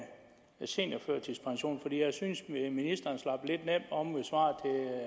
seniorførtidspension for jeg synes at ministeren slap lidt nemt om ved svaret